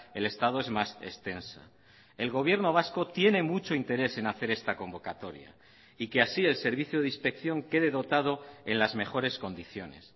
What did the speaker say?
el estado es más extensa el gobierno vasco tiene mucho interés en hacer esta convocatoria y que así el servicio de inspección quede dotado en las mejores condiciones